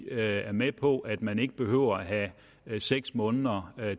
er med på at man ikke behøver at have seks måneder